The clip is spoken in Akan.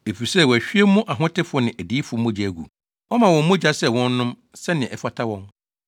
efisɛ wɔahwie mo ahotefo ne adiyifo mogya agu, woama wɔn mogya sɛ wɔnnom, sɛnea ɛfata wɔn.”